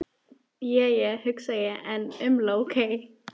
Je je, hugsa ég en umla ókei.